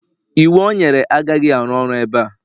iwu o nyere agaghị arụ ọrụ ebe a